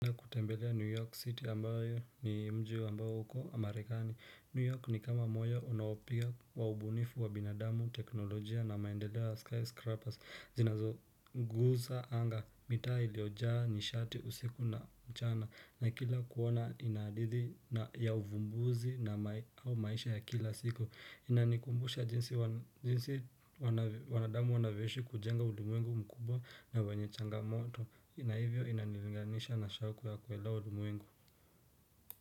Kutembelea New York City ambayo ni mji ambao uko marekani. New York ni kama moyo unaopiga waubunifu wa binadamu, teknolojia na maendeleo ya skyscrapers Zinazoguza anga, mitaa iliojaa nishati usiku na mchana na kila kuona inaridhi ya uvumbuzi na mai au maisha ya kila siku Inanikumbusha jinsi jinsi wanavyo wanadamu wanavyoishi kujenga ulimwengu mkubwa na wenye changamoto na hivyo inanivinganisha na shaku ya kuelewa ulimwengu.